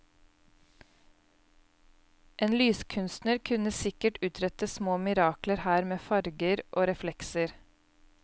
En lyskunstner kunne sikkert utrette små mirakler her med farger og reflekser.